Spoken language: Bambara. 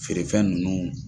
Feere fɛn nunnu.